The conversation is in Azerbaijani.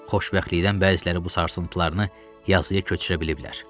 Xoşbəxtlikdən bəziləri bu sarsıntılarını yazıya köçürə biliblər.